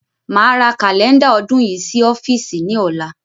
Máa ra Kálẹ́ndà ọdún yìí sí ọ́fíìsì ni ọ̀la.